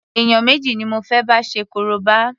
Èèyàn méjì ni mo fé bá ṣe korobá.